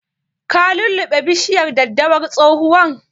Ka lulluɓe bishiyar daddawar tsohuwan?